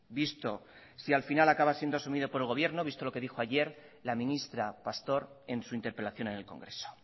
visto si al final acaba siendo asumido por el gobierno visto lo que dijo ayer la ministra pastor en su interpelación en el congreso